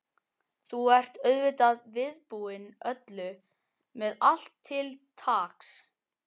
Þú ert auðvitað viðbúinn öllu. með allt til taks?